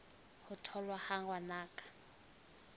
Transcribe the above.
ho tholwa ha ngwana ka